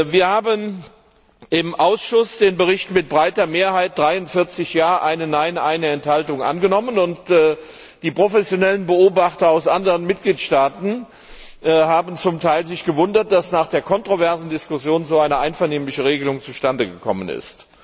Wir haben im Ausschuss den Bericht mit breiter Mehrheit 43 Ja Stimmen, 1 Nein Stimme, 1 Enthaltung angenommen, und die professionellen Beobachter aus anderen Mitgliedstaaten haben sich zum Teil gewundert, dass nach der kontroversen Diskussion so eine einvernehmliche Regelung zustande gekommen ist.